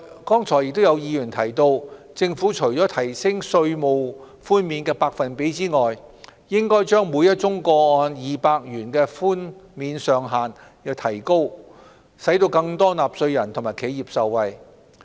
剛才亦有議員提出，政府除提升稅務寬免的百分比外，應該把每宗個案2萬元的寬免上限調高，使更多納稅人和企業受惠。